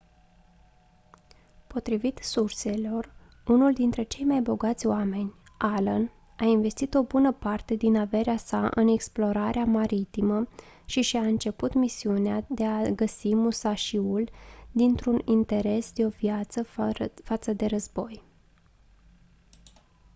potrivit surselor unul dintre cei mai bogați oameni allen a investit o bună parte din averea sa în explorarea maritimă și și-a început misiunea de a găsi musashi-ul dintr-un interes de-o viață față de război